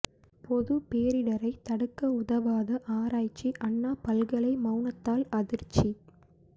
பொது பேரிடரை தடுக்க உதவாத ஆராய்ச்சி அண்ணா பல்கலை மவுனத்தால் அதிர்ச்சி